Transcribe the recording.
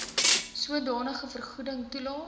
sodanige vergoeding toelaes